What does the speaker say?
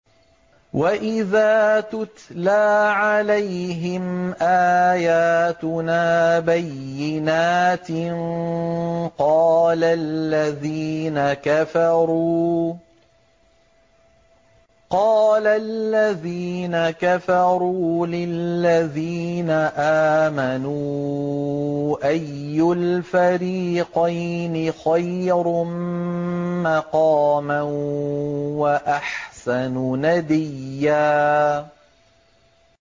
وَإِذَا تُتْلَىٰ عَلَيْهِمْ آيَاتُنَا بَيِّنَاتٍ قَالَ الَّذِينَ كَفَرُوا لِلَّذِينَ آمَنُوا أَيُّ الْفَرِيقَيْنِ خَيْرٌ مَّقَامًا وَأَحْسَنُ نَدِيًّا